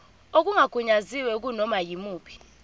okungagunyaziwe kunoma yimuphi